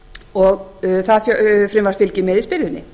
og það frumvarp fylgir með í spyrðunni